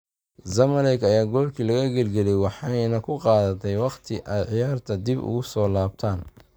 Zamalek ayaa goolkii laga gilgilay waxayna ku qaadatay waqti ay ciyaarta dib ugu soo laabtaan.